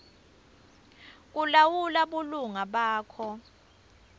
kulawula bulunga bakho